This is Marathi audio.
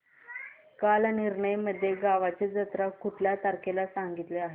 कालनिर्णय मध्ये गावाची जत्रा कुठल्या तारखेला सांगितली आहे